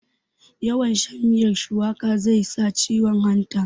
yawn shan miyar shuwaka zai sa ciwon hanta